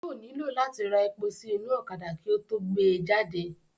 Yóò nílò láti ra epo sí inú ọ̀kadà kí ó tó gbé e jáde